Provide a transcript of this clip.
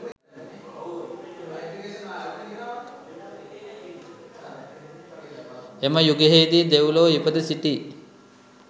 එම යුගයෙහිදී දෙව්ලොව ඉපිද සිටි